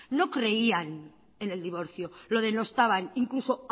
no creían en el divorcio lo denostaban incluso